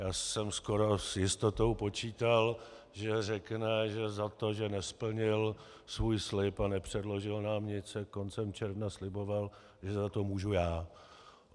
Já jsem skoro s jistotou počítal, že řekne, že za to, že nesplnil svůj slib a nepředložil nám nic, jak koncem června sliboval, že za to můžu já.